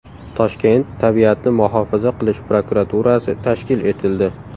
Toshkent tabiatni muhofaza qilish prokuraturasi tashkil etildi.